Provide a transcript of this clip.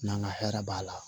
N'an ka hɛrɛ b'a la